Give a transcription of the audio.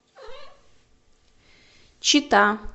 чита